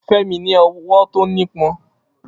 Femi ní ọwọ́ tó nípọn.